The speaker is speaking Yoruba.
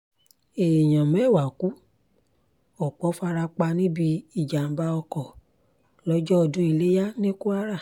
èèyàn mẹ́wàá ku ọ̀pọ̀ fara pa níbi ìjàm̀bá ọkọ̀ lọ́jọ́ ọdún iléyà ní kwara